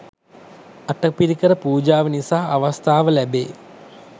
අටපිරිකර පූජාව නිසා අවස්ථාව ලැබේ